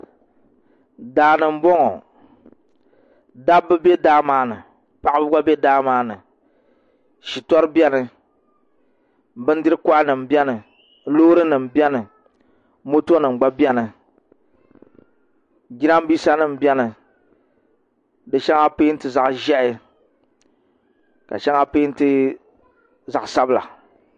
Daani n boŋo dabba bɛ daa maa ni paɣaba gba bɛ daa maa ni shitori biɛni bindiri koha nim biɛni loori nim biɛni moto nim gba biɛni jiranbiisa nim biɛni di zaa peenti zaɣ ʒiɛhi ka shɛŋa peenti zaɣ sabila